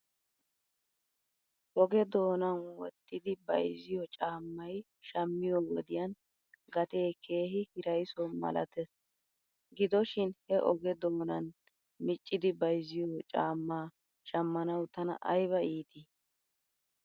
Oge doona wottidi bayzziyo caamay shamiyo wodiyan gatee keehi hiraysso malatees. Gido shin he oge doonaan miccidi bayzziyo caammaa shamanawu tana ayba iitii?